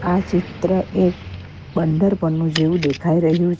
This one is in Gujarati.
આ ચિત્ર એક બંદર પરનો જેઉ દેખાઈ રહ્યું--